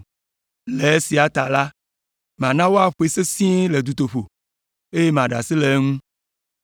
Le esia ta la, mana woaƒoe sesĩe le dutoƒo, eye maɖe asi le eŋu.”